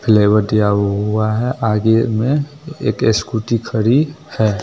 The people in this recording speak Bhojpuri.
फ्लेवर दिया हुआ है आगे में एक स्कूटी खड़ी है।